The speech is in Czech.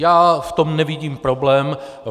Já v tom nevidím problém.